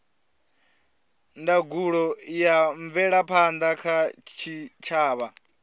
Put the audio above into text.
ndangulo ya mvelaphanda kha tshitshavha